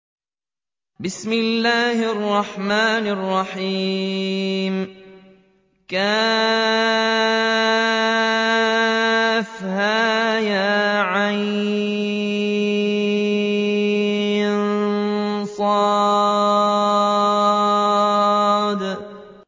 كهيعص